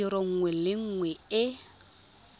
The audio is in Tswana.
tiro nngwe le nngwe e